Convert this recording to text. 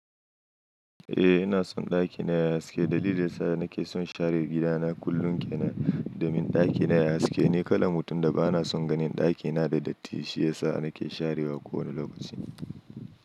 Eh ina son ɗakina yayi haske, dalilin da yasa nake son share gidana kullum kenan domin ɗakina yayi haske, ni kalan mutum da bana son ganin ɗakina da datti shiyasa nake sharewa kowane lokaci.